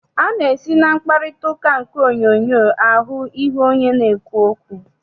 A na-esi na mkparịtaụka nke onyoonyoo ahụ ihu onye na-ekwu okwu.